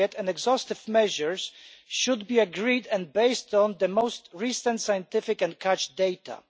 Appropriate and exhaustive measures should be agreed and based on the most recent scientific and catch data.